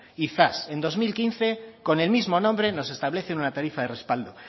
y zas en dos mil quince con el mismo nombre nos establecen una tarifa de respaldo